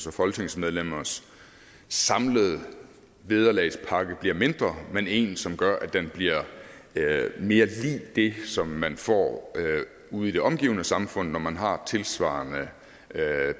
og folketingsmedlemmers samlede vederlagspakke bliver mindre men en som gør at den bliver mere lig det som man får ude i det omgivende samfund når man har tilsvarende